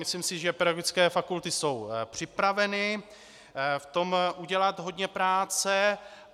Myslím si, že pedagogické fakulty jsou připraveny v tom udělat hodně práce.